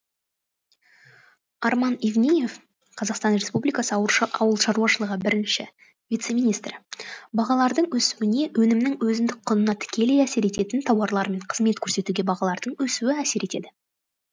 арман евниев қазақстан республикасы ауыл шаруашылығы бірінші вице министрі бағалардың өсуіне өнімнің өзіндік құнына тікелей әсер ететін тауарлар мен қызмет көрсетуге бағалардың өсуі әсер етеді